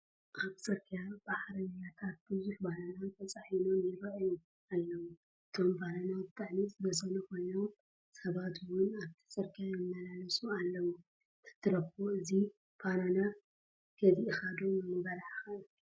ኣብ ፅርግያ ብዓረብያታት ቡዙሕ ባናና ተፃዒኖም ይራኣዩ ኣለው፡፡ አቶም ባናና ብጣዕሚ ዝበሰሉ ኮይኖም ሰባት ውን ኣብቲ ፅርግያ ይመላለሱ ኣለው፡፡ ተትረኽቦ እዚ ባናና ገዚአኻ ዶ ምበላዕኻ?